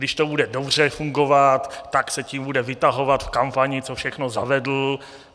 Když to bude dobře fungovat, tak se tím bude vytahovat v kampani, co všechno zavedl.